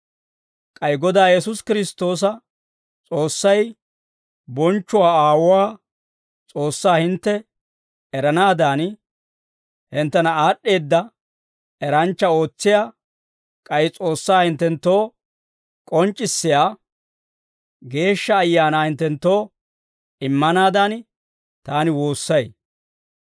K'ay Godaa Yesuusi Kiristtoosa S'oossay, bonchchuwaa Aawuu, S'oossaa hintte eranaadan, hinttena aad'd'eedda eranchcha ootsiyaa k'ay S'oossaa hinttenttoo k'onc'c'issiyaa Geeshsha Ayaanaa hinttenttoo immanaadan, taani woossay.